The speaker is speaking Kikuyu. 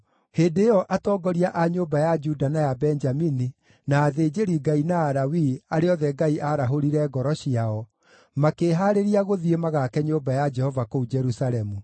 Hĩndĩ ĩyo atongoria a nyũmba ya Juda na ya Benjamini, na athĩnjĩri-Ngai na Alawii, arĩa othe Ngai aarahũrire ngoro ciao, makĩĩhaarĩria gũthiĩ magaake nyũmba ya Jehova kũu Jerusalemu.